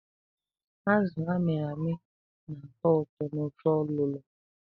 Azụ a mịrị amị na-atọ ụtọ n"ofe ọlụlọ.